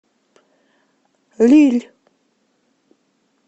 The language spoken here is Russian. лилль